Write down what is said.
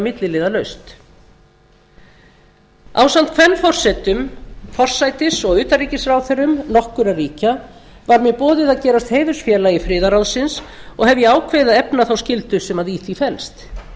milliliðalaust ásamt kvenforsetum forsætis og utanríkisráðherrum nokkurra ríkja var mér boðið að gerast heiðursfélagi friðarráðsins og hef ég ákveðið að efna þá skyldu sem í því felst